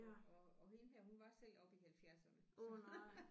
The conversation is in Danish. Og og og hende her hun var selv oppe i halvfjerdserne så